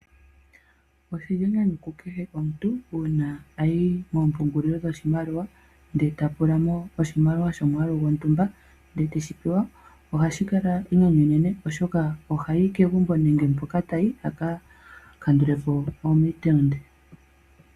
Oshili enyanyu ku kehe omuntu uuna ayi moompungulilo dhoshimaliwa ndele ta pula mo oshimaliwa shomwaalu gontumba ndele teshi pewa, ohashi kala uunenene oshoka ohayi kegumbo nenge mpoka tayi a ka kandule po omitengi.